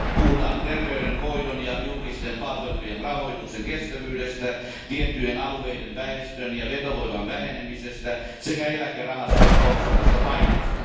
Puhutaan terveydenhoidon ja julkisten palvelujen rahoituksen kestävyydestä, tiettyjen alueiden väestön ja vetovoiman vähenemisestä sekä eläkerahastoihin kohdistuvasta paineesta.